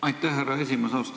Aitäh, härra esimees!